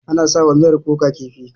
Ana sa wa miyar kuka kifi.